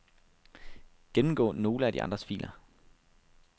Gennemgå nogle af de andres filer.